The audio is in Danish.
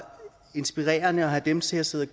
inspirerende at have dem til at sidde